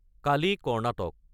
Kali - Karnataka